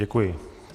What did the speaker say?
Děkuji.